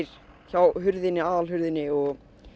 hjá aðalhurðinni og